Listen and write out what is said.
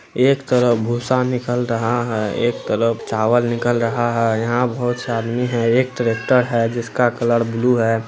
एक तरफ भूसा निकल रहा है एक तरफ चावल निकल रहा है| यहाँ बहुत-सा आदमी है एक ट्रैक्टर है जिसका कलर ब्लू है|